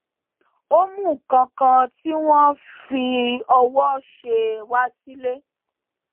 ó mú nǹkan kan tí wọn fi ọwó ṣe wá sílé